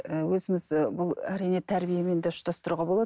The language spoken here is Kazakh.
і өзіміз ы бұл әрине тәрбиемен де ұштастыруға болады